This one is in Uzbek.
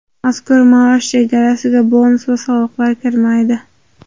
Mazkur maosh chegarasiga bonus va soliqlar kirmaydi.